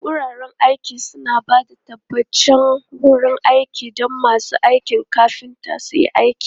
Wuraren aiki suna ba da tabbataccen wurin aiki don masu aikin kafinta su yi aiki.